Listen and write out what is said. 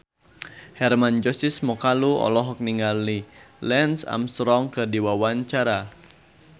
Hermann Josis Mokalu olohok ningali Lance Armstrong keur diwawancara